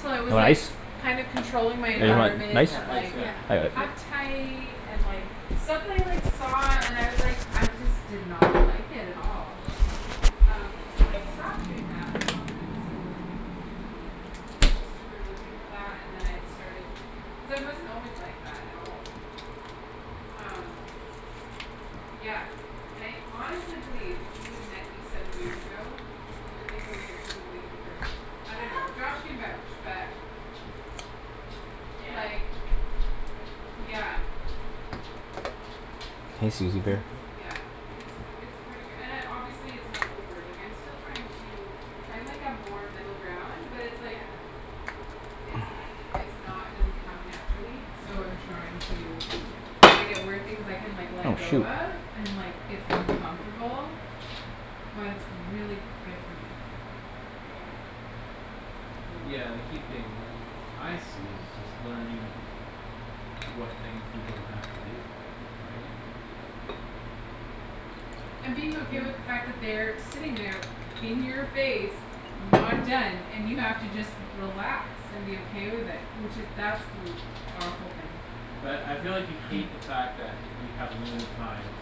Till You I want was, like, ice? kinda controlling my Yeah, environment yeah, and, ice, like yeah, thank you. uptight and, like stuff that I, like, saw and was, like, I just did not like it at all. Um, so when I stopped doing that I felt that it was a really good move for me. Just to remove me from that and then I started Cuz I wasn't always like that at all. Um. Yeah. And I honestly believe if you had met me seven years ago you would think I was a completely different person. I don't know. Josh can vouch but Yeah. Like, Yeah. yeah. Hey, Susie bear. Yeah, it's, it's pretty k- and I, obviously it's not over, like, I'm still trying to find, like, a more middle ground but it's, like Yeah. it's, it's not, doesn't come naturally so I'm Yeah. trying to find out where things I can, like, let Oh, go shoot. of and, like, it's uncomfortable but it's really good for me. Yeah. Yeah. Yeah, and the key thing I see is just learning what things you don't have to do, right? And being okay with the fact that they are sitting there in your face not done and you have to just relax and be okay with it, which is that's li- powerful thing. But I feel like you hate the fact that you have limited time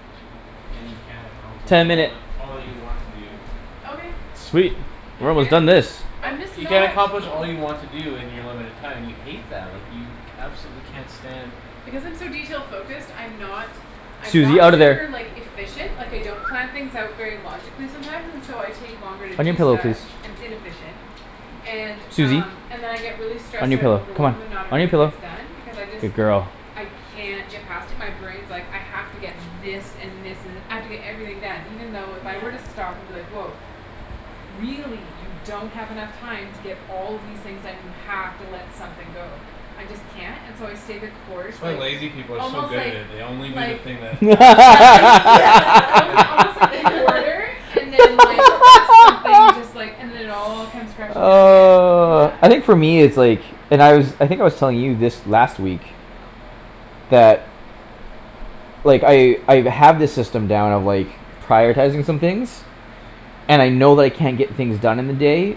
and you can't accomplish Ten all minute. that, all that you want to do. Okay. Sweet, we're almost done this. I'm just You can't not accomplish all Cool. you want to do in your limited time and you hate that. Like, you absolutely can't stand Because I'm so detail focused, I'm not I'm not Susie, out of super, there. like, efficient Like, I don't plan things out very logically sometimes and so I Yeah. take longer to On your do pillow, stuff, please. and its inefficient. And, Susie. um, and then I get really On stressed your out and pillow, come overwhelmed and on. not On your everything pillow, gets done because I just good girl. I can't get past it my brain's like, "I have to get this and this and, I have to get everything done" even though if I were to Yeah. stop and be like, "Woah. Really you don't have enough time to get all of these things done; you have to let something go." I just can't, and so I stay the course, That's why like, lazy people are so almost, good at like it; they only do the like thing that absolutely Yeah, yeah. only Yeah. almost, like, in order and then, like something just, like, and then it all comes crashing down in the end. Yeah. Oh, I think for me it's like And I was, I think I was telling you this last week that like, I, I've, have this system down of, like prioritizing some things and I know that I can't get things done in the day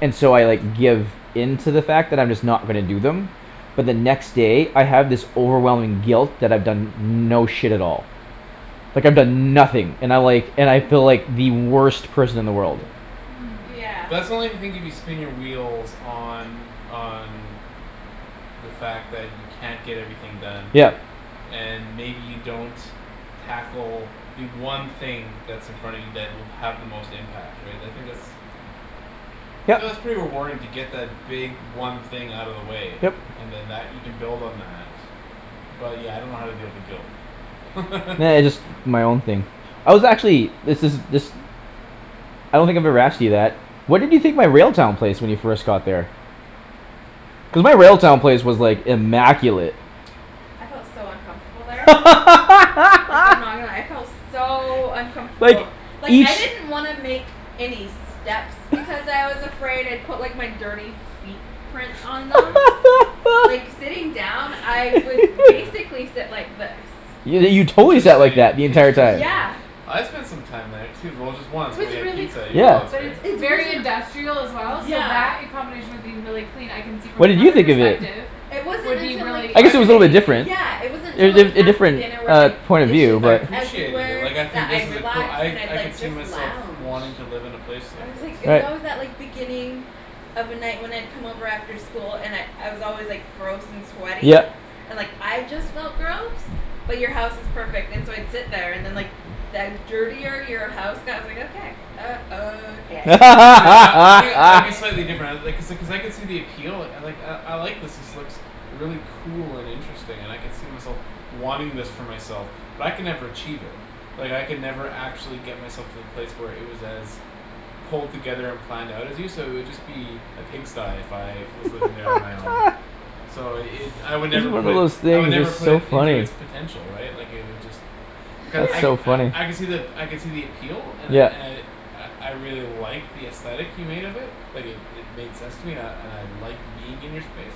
and so I, like, give in to the fact that I'm just not gonna do them but the next day, I have this overwhelming guilt that I've done no shit at all like, I've Ye- done nothing and I, like, and I feel like the worst person in the world. Yeah. Hmm. Yeah. But that's only the thing if you spin your wheels on, on the fact that you can't get everything done Yep. and maybe you don't tackle the one thing that's in front of you that will have the most impact, right? I think that's Yep. So that's pretty rewarding to get that big one thing out of the way Yep. and then that, you can build on that. But, yeah, I don't know how to deal with the guilt. Nah, it's my own thing. I was actually, this is, this I don't think I've ever asked you that. What did you think my Railtown place when you first got there? Cuz my Railtown place was, like, immaculate. I felt so uncomfortable there. Like, I'm not gonna lie, I felt so Like, uncomfortable. Like, I each didn't want to make any steps because I was afraid I'd put, like, my dirty feet prints on them. Yeah. Like, sitting down, I would Yeah. basically sit like this. Yo- you totally sat like Interesting, that the entire time. interesting. Yeah. I spent some time there too, well, just It once when was we had really pizza at your Yeah. place, cool, but right? it's It's very wasn't industrial as well so Yeah. that in combination with being really clean I can see from What did you another think of it? perspective It wasn't would be until, like really I I guess it can was a little bit intimidating. different. Yeah, it wasn't Er, until, like a, a After different, dinner where, uh, like, point of view, dishes I are but appreciated it, Everywhere like, I that think this I'd is a coo- relax I, and I'd, I could like, see just myself lounge wanting to live in a place like I was, like, this. it was Right. always that, like, beginning of a night when I'd come over after school and I'd, I was always, like Gross and sweaty, Yep. and, like, I just Yeah. felt gross. But you're house is perfect and so I'd sit there and then, Yeah. like the dirtier your house got, I was like, "Okay." Uh, okay. See, see, I, I think I'd be slightly different I, uh Okay. like I, I could see the appeal, like, "I, I like this; this looks really cool and interesting and I could see myself wanting this for myself." But I could never achieve it. Like, I could never actually get myself to the place where it was as pulled together and planned out as you, so it'd just be a pigsty if I was living there on my own. So it, I would Every never one put of it those s- I would things never is put so it into funny. it's potential, right? Like, it would just Cu- I, That's so funny. I, I could see the ap- I could see the appeal and I, Yeah. and I I, I really like the aesthetic you made of it. Like, it, it made sense to me and I, and I liked being in your space.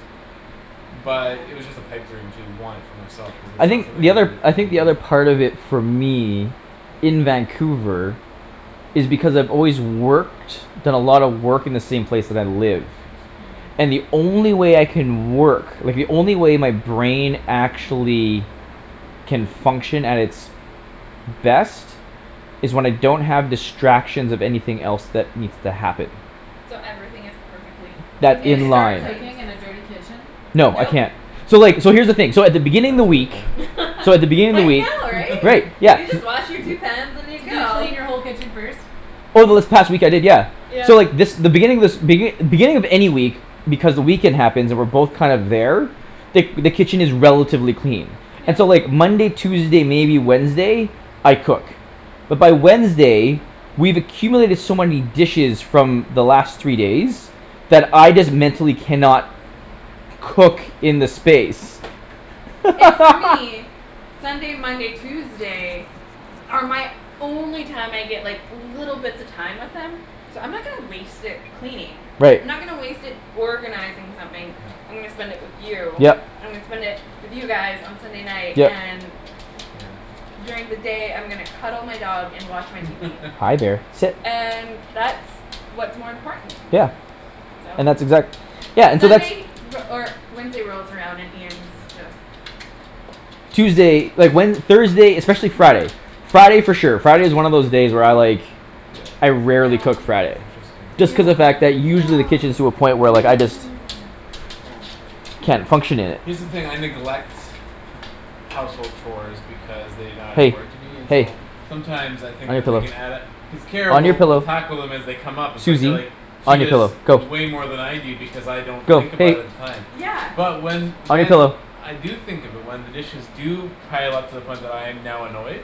Yeah. But it was just a pipe dream to want it for myself cuz it's I not think something the I other, cou- I I think could do the other it. part of it for me in Vancouver is because I've always worked done a lot of work in the same place that I live Hmm. and the only way I can work like, the only way my brain actually can function at its best is when I don't have distractions of anything else that needs to happen So everything is perfectly Can that in you in its start line. place. cooking in a dirty kitchen? No, I Nope. can't. So, like, so here's the thing, so at the beginning I of the totally week can. so at the beginning of I the week know, right. Right, You yeah. just wash your two pans and you Could you go. clean your whole kitchen first? Over this Ye- past week, I did, yeah. Yeah. So, like, this, the beginning of this begin- beginning of any week because the weekend happens, and we're both kind of there the, the kitchen is relatively clean. Yeah. And so, like, Monday, Tuesday, maybe Wednesday I cook. But by Wednesday we've accumulated so many dishes from the last three days that I just mentally cannot cook in the space. And for me Sunday, Monday, Tuesday are my only time I get, like little bits of time with him so I'm not gonna waste it cleaning. Right. I'm not gonna waste it organizing something. I'm Yeah. gonna spend it with you. Yep. I'm gonna spend it with you guys on Sunday night Yep. and Yeah. during the day I'm gonna cuddle my dog and watch my TV. Hi, there, sit. And that's what's more important to me. Yeah. Yeah. So. And that's exact- Yeah, and so that's Sunday re- or Wednesday rolls around and Ian's Yeah. just Tuesday, like, when, Thursday, especially Hi. Friday Friday for sure. Friday is one of those day where I, like Yeah. I rarely No. cook Friday. Interesting. Just cuz No, the fact that no, usually no, the kitchen is to a no, Yeah. point where, no, like, I just no, no, no. Down. can't function in it. Here's the thing; I neglect household chores because they not Hey, important to me and hey. so sometimes I On think your that they pillow, can add a cuz Kara on your will, will pillow. tackle them as they come up and so I feel like Susie. she On your does pillow, go. way more than I do because I don't Go. think about it Hey. at the time. Yeah. But when, On your when pillow. I do think of it, when the dishes do pile up to the point when I'm now annoyed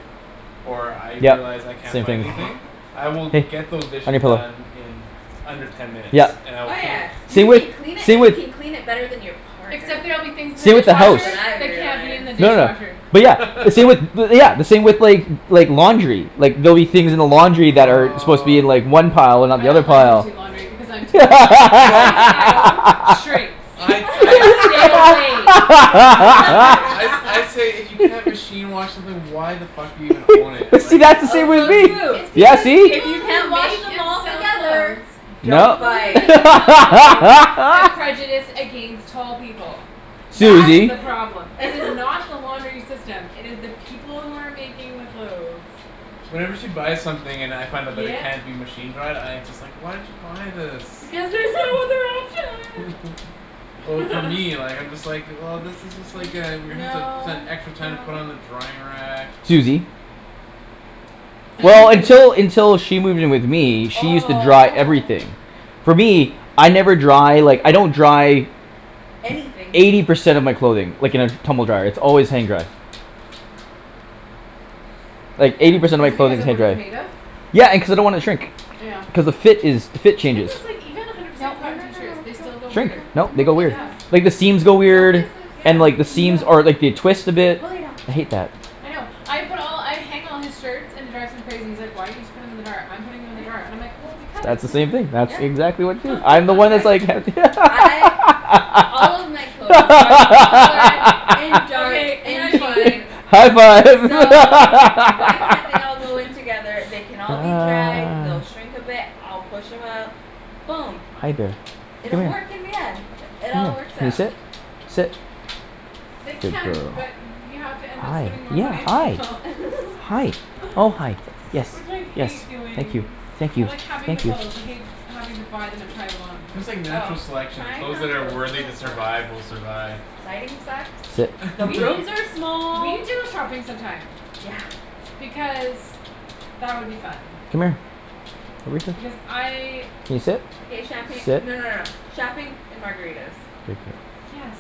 or I Yep, realize I can't same find thing. anything I will get those Hey, on dishes your pillow. done in under ten minutes Yep, and I will Oh, clean yeah. You same with, can clean it same and you with can clean it better than your partner. Except there'll be things in the same with the That's house. what dishwasher I that can't be in realized. the No, no. dishwasher. But yeah, the same with bu- yeah, the same with, like like, laundry. Like, there'll be things in the laundry that are supposed to be in, Aw like, one pile and not I the other don't let him pile. do laundry because I'm tall and Well everything I own shrinks. I, I'm I like, "Stay away from the laundry." I sa- I say, "If you can't machine wash something why the fuck are you gonna own it?" But see, Like that's the same Also with true It's me. Yeah, because see? if people you can't who wash make them and all sell together. clothes Don't No. people buy who make it. and sell clothes have prejudice against tall people. That is Susie. the problem. It is not the laundering system; it is the people who are making the clothes. Whenever she buys something and I find out that it Yep. can't be machine-dried, I just, like, "Why did you buy this?" Because there's no other option. Well, for me, like, I'm just like, "Well, this is just, like, uh we're gonna have to spend No, extra time to put it no. on the drying rack." Susie. See Well, until, until she moved in with me, she used to dry Oh, oh. everything. For me, I never dry, like, I don't Yeah. dry Anything. eighty percent of my clothing like, in a tumble dryer; its always hang-dried. Like, eighty Yeah. percent Is of it my because clothing is of what it's made of? hang-dried. Yeah, and cuz I don't wanna shrink. Yeah. Cuz the fit is, the fit Thing changes. is, like, even a hundred Nope, percent no, cotton no, no, t-shirts, no. Don't, they still go Shrink. weird. don't, No, no they go weird. kisses. Yeah. Like the seams go No weird kisses. Yeah. and, like, the seams, No. or, like, they twist a bit. Go lay down. I hate that. I know. I put all, I hang all his shirts, and it drives him crazy; he's like, "Why don't you just put them in the dryer? I'm putting them in the dryer" and I'm like, "Well, S- because." that's the same thing; that Yeah, yeah. exactly what you do. I'm the one Be that's like like ha- I All of my clothes are colored and dark Okay, and high five. jeans. High five. So why can't they all go in together? They can all be dried, Ah. they'll shrink a bit, I'll push 'em out. Boom. Hi, bear, It'll come work here. in the end. It all Come here. works Can you out. sit? Sit. They Good can, girl. but you have to end up Hi, spending more yeah, money on hi. clothes. Hi, oh, hi. Yes, Which I hate yes, thank doing. you. Thank I you, like having the thank you. clothes. I hate having to buy them and try them on. It's just like Oh, natural selection; the tying clothes on that are toes is the worthy to worst. survive will survive. Lighting sucks. Sit. The We, rooms are we small, need to go it shopping some time. Yeah. Because that would be fun. Come here. Because I Can you sit? Okay, champagne, Sit. no, no, no, shopping and margaritas. Good girl. Yes.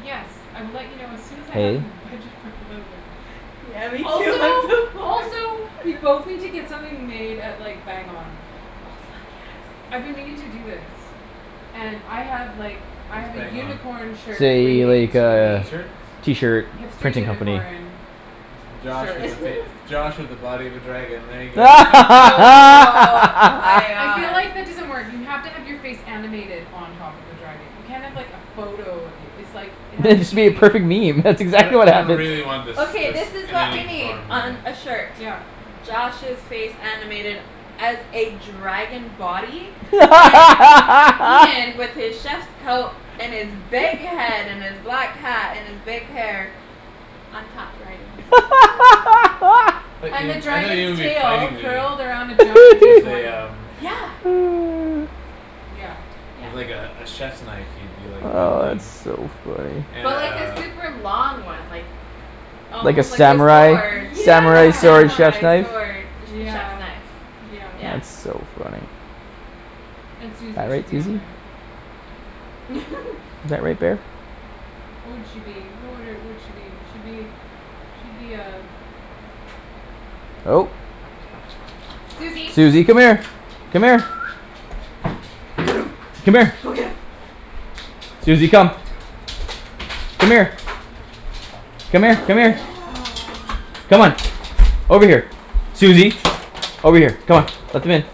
Yes, I will let you know as soon as I have Hey. a budget for clothing. Yeah, me too. I'm so Also, poor. also we both need to get something made at, like Bang On. Oh, fuck, I've yes. been meaning to do this. And I have, like I What's have a Bang On? unicorn shirt Say, waiting like to be uh, made. t-shirts? t-shirt Hipster printing company. unicorn It's Josh shirt. with a fac- it's Josh with a body of a dragon, there you go. Oh, my I feel god. like that doesn't work. You have to have your face animated on top of a dragon. You can't have like a photo of you. It's like, it has Then to it should be a be perfect meme; that's I don- exactly what I don't happens. really want this, Okay, this this is in what we any need form, really. on a shirt. Yep. Josh's face animated as a dragon body and Ian with his chef's coat and his big head and his black hat and his big hair on top riding his I thought And the you, I thought you would dragon's be tail fighting me, curled around a giant D with a twenty. um Yeah. Yeah. Yeah. with, like, a, a chiefs knife you'd be Oh, wielding. that's so funny. And But like a uh super long one, like Like a almost like a sword. samurai? A Samurai sword Yeah. chef's samurai knife? sword. A che- chef's Yeah, knife, yeah. yeah. That's so funny. And All Susie should right, be on Susie. there. Is that right, bear? What would she be? What would her, would she be? She'd be she'd be a Oh. Susie. Susie, come here. Come here. Go. Come here. Go get 'em. Susie, come. Come here. Come here, Go come here. get 'em. Come on. Over here. Susie. Over here. Come on. Let them in.